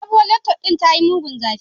Sabuwar lectut din tayi mugun zagi